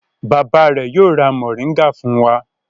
Bàbá rẹ̀ yóò ra mòríngà fún wa.